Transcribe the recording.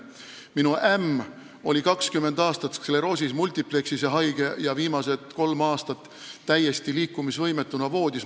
Minu ämm oli 20 aastat haige, sclerosis multiplex'is, ja viimased kolm aastat täiesti liikumisvõimetuna voodis.